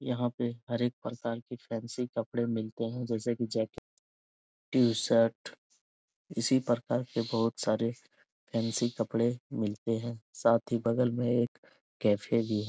यहाँ पे हर एक प्रकार के फैंसी कपड़े मिलते हैं जैसे की जैक टीशर्ट इसी प्रकार के बहुत सारे फैंसी कपड़े मिलते हैं साथ ही बगल में एक कैफ़े भी --